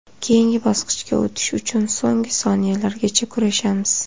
Keyingi bosqichga o‘tish uchun so‘nggi soniyalargacha kurashamiz.